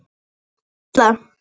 Er það Katla?